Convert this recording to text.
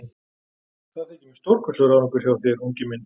Það þykir mér stórkostlegur árangur hjá þér, unginn minn.